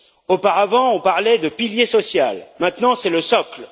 Auparavant, on parlait de pilier social, maintenant, c'est le socle.